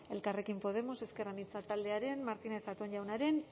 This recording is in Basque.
elkarrekin podemos ezker anitza taldearen martínez zatón jaunaren